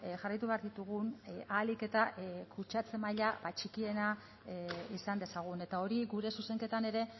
jarraitu behar ditugun ahalik eta kutsatze maila txikiena izan dezagun eta hori gure zuzenketan ere